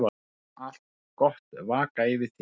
Megi allt gott vaka yfir þér.